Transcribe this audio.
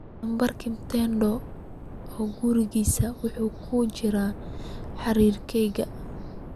nambarka mutinda oo gurigiisa wuxuu ku jiraa xiriirkayga